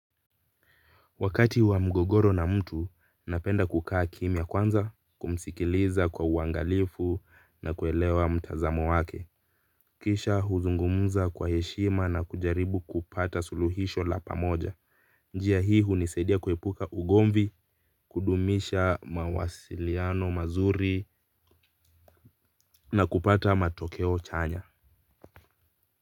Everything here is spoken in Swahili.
Wakati wa mgogoro na mtu, napenda kukaa kimia kwanza, kumsikiliza kwa uangalifu na kuelewa mtazamo wake. Kisha huzungumuza kwa heshima na kujaribu kupata suluhisho la pamoja. Njia hii hunisaidia kuepuka ugomvi, kudumisha mawasiliano mazuri na kupata matokeo chanya.